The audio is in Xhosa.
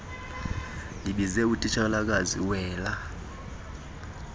ndibize utitshalakazi wela